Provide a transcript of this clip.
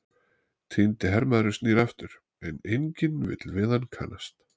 Týndi hermaðurinn snýr aftur, en enginn vill við hann kannast.